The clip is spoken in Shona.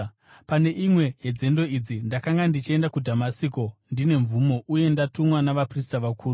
“Pane imwe yenzendo idzi ndakanga ndichienda kuDhamasiko ndine mvumo uye ndatumwa navaprista vakuru.